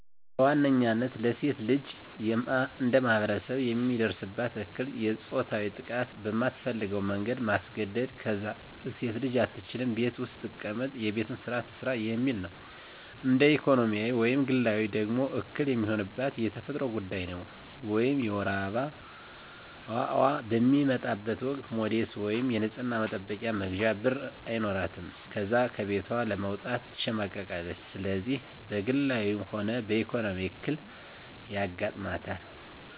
በዋነኝነታ ለሴት ልጅ እንደማህበረሰብ የሚደርስባት እክል የፆታዊ ጥቃት በማትፈልገው መንገድ ማስገድ፣ ከዛም ሴት አትችልም ቤት ውስጥ ትቀመጥ የቤቱን ስራ ትስራ የሚል ነው። እንደ ኢኮኖሚያዊ ወይም ግላዊ ደግሞ እክል የሚሆንባት የተፈጥሮ ጉዳይ ነው ወይም የወር አበባዋ በሚመጣበት ወቅት ሞዴስ ወይም የንፅህና መጠበቂያ መግዣ ብር አይኖራትም ከዛም ከቤቷ ለመውጣት ትሸማቀቃለች። ስለዚህ በግላዊ ሆነ በኢኮኖሚ እክል አጋጠማት።